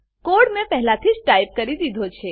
code મેં પહેલાથી જ ટાઈપ કરી દીધો છે